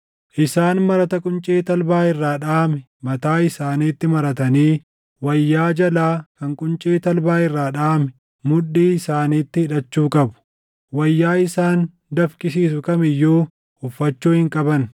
Isaan marata quncee talbaa irraa dhaʼame mataa isaaniitti maratanii wayyaa jalaa kan quncee talbaa irraa dhaʼame mudhii isaaniitti hidhachuu qabu. Wayyaa isaan dafqisiisu kam iyyuu uffachuu hin qaban.